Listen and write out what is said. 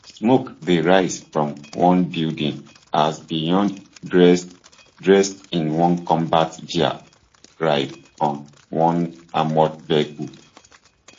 smoke dey rise from one building as beyonc dressed dressed in combat gear ride on one armoured vehicle